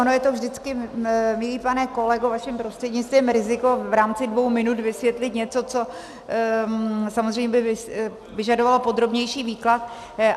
Ono je to vždycky, milý pane kolego, vaším prostřednictvím, riziko v rámci dvou minut vysvětlit něco, co samozřejmě by vyžadovalo podrobnější výklad.